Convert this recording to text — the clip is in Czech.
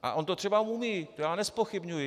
A on to třeba umí, to já nezpochybňuji.